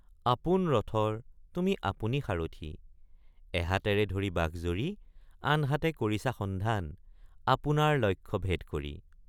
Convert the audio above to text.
আপোন ৰথৰ তুমি আপুনি সাৰথি এহাতেৰে ধৰি বাঘ জৰী আনহাতে কৰিছা সন্ধান আপোনাৰ লক্ষ্য ভেদ কৰি!